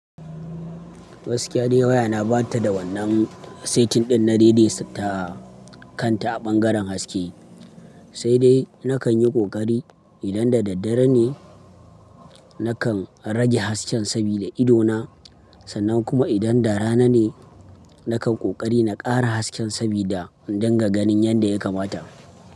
Gaskiya dai waya na ba ta da wannan setin ɗin na daidaita kanta a ɓangaren haske. Sai dai na kan yi ƙoƙari idan da daddare ne na kan rage hasken sabida idona sannan kuma idan da rana ne na kan ƙoƙari na ƙara hasken sabida in dinga ganin yanda ya kamata.